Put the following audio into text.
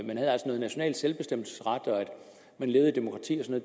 noget national selvbestemmelsesret og det at man levede i demokrati og